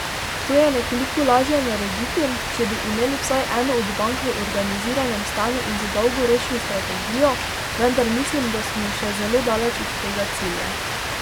To je nekoliko lažje narediti, če bi imeli vsaj eno od bank v organiziranem stanju in z dolgoročno strategijo, vendar mislim, da smo še zelo daleč od tega cilja.